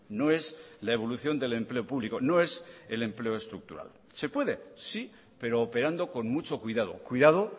no es la evolución del empleo público no es el empleo estructural se puede sí pero operando con mucho cuidado cuidado